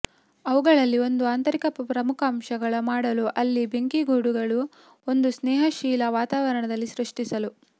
ಅವುಗಳಲ್ಲಿ ಒಂದು ಆಂತರಿಕ ಪ್ರಮುಖಾಂಶಗಳ ಮಾಡಲು ಅಲ್ಲಿ ಬೆಂಕಿಗೂಡುಗಳು ಒಂದು ಸ್ನೇಹಶೀಲ ವಾತಾವರಣದಲ್ಲಿ ಸೃಷ್ಟಿಸಲು